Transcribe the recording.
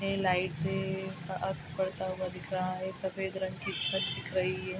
में light ray उनका अक्स पड़ता हुआ दिख रहा है सफ़ेद रंग की छत दिख रही है।